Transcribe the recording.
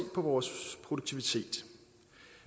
på vores produktivitet